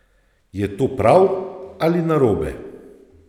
Je to prav ali narobe?